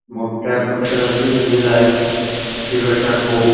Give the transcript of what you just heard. मोठ्या अक्षरात ते लिहिलेल आहे हिरव्या अक्षरात होप --